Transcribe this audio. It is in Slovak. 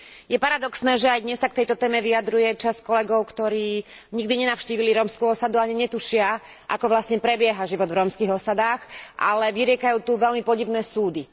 Je paradoxné, že aj dnes sa k tejto téme vyjadruje časť kolegov, ktorí nikdy nenavštívili rómsku osadu a ani netušia, ako vlastne prebieha život v rómskych osadách, ale vyriekajú tu veľmi podivné súdy.